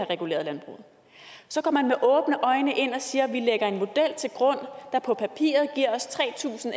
reguleret så går man med åbne øjne ind og siger vi lægger en model til grund der på papiret giver os tre tusind